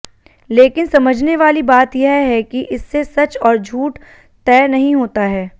लेकिन समझने वाली बात यह है कि इससे सच और झूठ तय नहीं होता है